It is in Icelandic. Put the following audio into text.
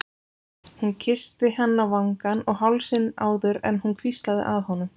Hún kyssti hann á vangann og hálsinn áður en hún hvíslaði að honum